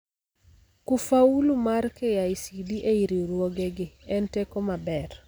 Kufaulu mar KICD ei riuruoge gi en teko maber